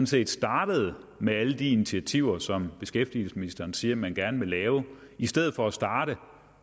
set startede med alle de initiativer som beskæftigelsesministeren siger at man gerne vil lave i stedet for at starte